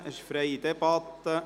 Wir führen eine freie Debatte.